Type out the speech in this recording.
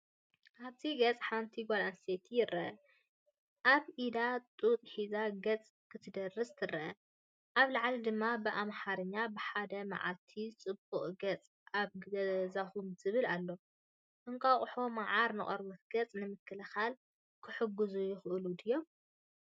ኣብዚ ገጽ ሓንቲ ጓል ኣንስተይቲ ይርአ። ኣብ ኢዳ ጡጥ ሒዛ ገጻ ክትደርዝ ትርአ። ኣብ ላዕሊ ድማ ብኣምሓርኛ "ብ 1 መዓልቲ ፅቡቅ ገፅ ኣብ ገዛኩም" ዝብል ኣለዎ። እንቋቑሖን መዓርን ንቆርበት ገጽ ንምክልኻል ክሕግዙ ይኽእሉ ድዮም?